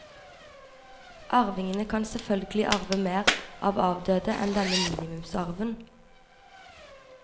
Arvingene kan selvfølgelig arve mer av avdøde enn denne minimumsarven.